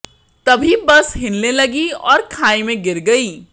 तभी बस हिलने लगी और खाई में गिर गई